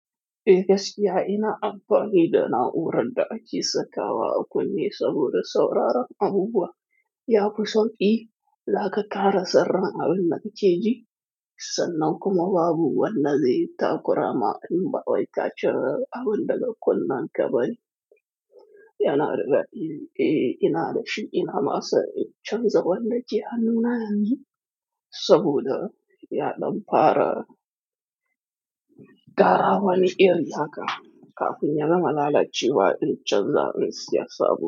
Eh, gaskiya ina amfani da na'uran da ake sakawa a kunne saboda sauraron abubuwa. Ya fi sauƙi, ya ƙaƙara saurin abin da kake ji, sannan kuma babu wanda zai takura ma in ba wai kace abin da ka kunna kabari. Yana da daɗi, eh, ina da shi, ina ma son in canza wani da ke hannuna amma yanzu saboda ya ɗan fara-- ƙara wani iri haka kafin ya gama lalacewa iccen zaren siyasa.